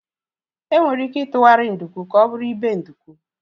Enwere ike itughari nduku ka ọ bụrụ ibe nduku